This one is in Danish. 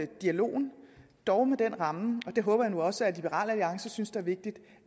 dialogen dog med den ramme og det håber jeg nu også at liberal alliances synes er vigtigt